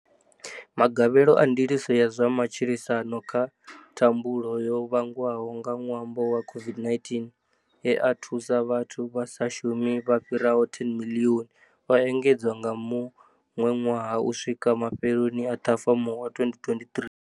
Magavhelo a Ndiliso ya zwa Matshilisano kha Thambulo yo vhangwaho nga ṅwambo wa COVID-19 e a thusa vhathu vha sa shumi vha fhiraho 10 miḽioni, o engedzwa nga muṅwe ṅwaha - u swika ma fheloni a Ṱhafamuhwe 2023.